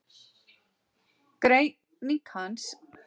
Greining hans varð að mikilvægum þætti í klassískri hagfræði.